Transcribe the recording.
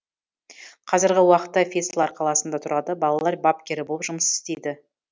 қазіргі уақытта вецлар қаласында тұрады балалар бапкері болып жұмыс істейді